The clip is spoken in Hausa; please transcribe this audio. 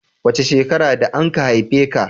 Wace shekara da anka haife ka?